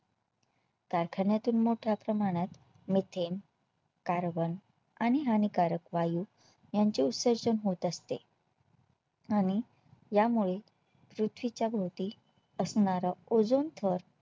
कारखान्यातून मोठ्या प्रमाणात Methane carbon आणि हानिकारक वायू यांचे उत्सर्जन होत असते आणि यामुळेपृथ्वीच्या भोवती असणारा Ozone थर